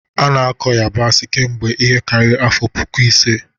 A na-akọ yabasị kemgbe ihe karịrị afọ puku ise.